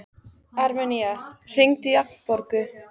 Armenía, hringdu í Agnborgu.